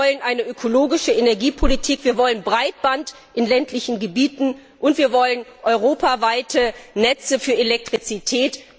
Wir wollen eine ökologische Energiepolitik, wir wollen Breitband in ländlichen Gebieten und wir wollen europaweite Netze für Elektrizität.